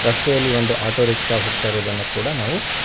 ರಸ್ತೆಯಲ್ಲಿ ಒಂದು auto rickshaw ಹೋಗ್ತಾ ಇರೋದನ್ನು ಕೂಡ ನಾವು--